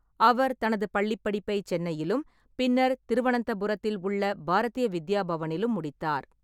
அவர் தனது பள்ளிப்படிப்பை சென்னையிலும், பின்னர் திருவனந்தபுரத்தில் உள்ள பாரதிய வித்யா பவனிலும் முடித்தார்.